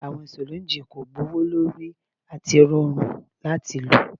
Awọn syringes ko gbowolori ati rọrun lati lo